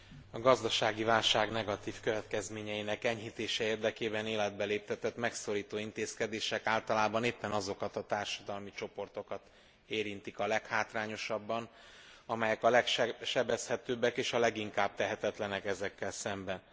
A gazdasági válság negatív következményeinek enyhítése érdekében életbe léptetett megszorító intézkedések általában éppen azokat a társadalmi csoportokat érintik a leghátrányosabban, amelyek a legsebezhetőbbek és a leginkább tehetetlenek ezekkel szemben.